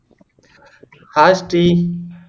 hai Sri